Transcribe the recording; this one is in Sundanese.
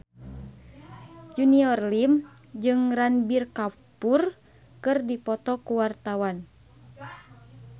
Junior Liem jeung Ranbir Kapoor keur dipoto ku wartawan